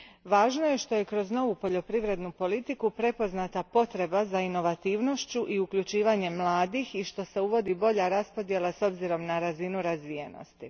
Važno je što je kroz novu poljoprivrednu politiku prepoznata potreba za inovativnošću i uključenosti mladih i što se uvodi bolja raspodjela s obzirom na razinu razvijenosti.